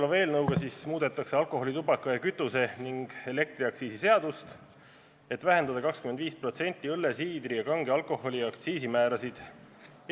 Selle eelnõu eesmärk on muuta alkoholi-, tubaka-, kütuse- ja elektriaktsiisi seadust, et vähendada 25% õlle, siidri ja kange alkoholi aktsiisimäärasid.